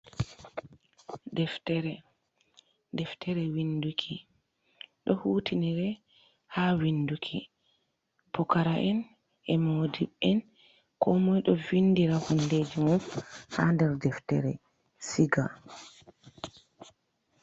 Ɗeftere. Deftere winɗuki. Ɗo hutinire ha winɗuki. Pukara’en,e moɗɗibbe ko moi ɗo vinɗira honɗeji mum ha nɗer ɗeftere siga.